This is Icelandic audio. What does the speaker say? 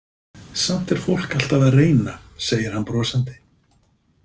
Samt er fólk alltaf að reyna, segir hann brosandi.